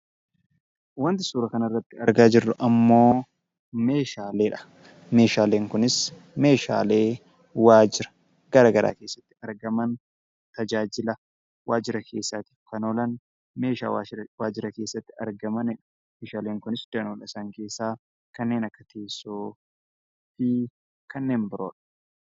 Wanti suuraa kanarratti argaa jirru ammoo meeshaaleedha. Meeshaaleen kunis, meeshaalee waajira garagaraa keessatti argaman tajaajila waajira keessaaf oolan meeshaa waajira keessatti argamanidha. Meeshaaleen kunis danoota isaanii keessaa kanneen akka teessoo fi kanneen biroodha.